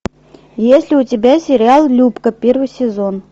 есть ли у тебя сериал любка первый сезон